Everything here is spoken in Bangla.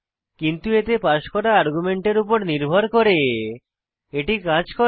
কিন্তু এতে পাস করা আর্গুমেন্টের উপর নির্ভর করে এটি কাজ করে